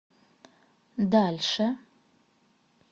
дальше